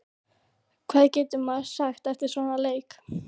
Hvað getur maður sagt eftir svona leik?